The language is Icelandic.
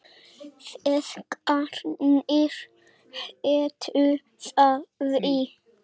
Feðgarnir hétu því.